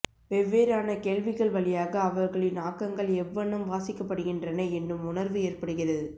வெவ்வேறான கேள்விகள் வழியாக அவர்களின் ஆக்கங்கள் எவ்வண்ணம் வாசிக்கப்படுகின்றன என்னும் உணர்வு ஏற்படுகிறது